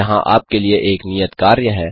यहां आपके लिए एक नियत कार्य है